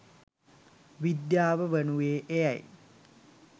විද්‍යාව වනුයේ එයයි